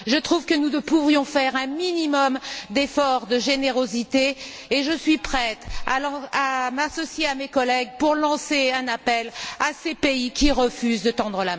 Je trouve que nous pourrions faire un minimum d'efforts de générosité et je suis prête à m'associer à mes collègues pour lancer un appel à ces pays qui refusent de tendre